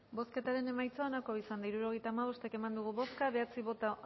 bozketaren emaitza onako izan da hirurogeita hamabost eman dugu bozka bederatzi boto